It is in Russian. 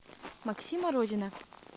максима родина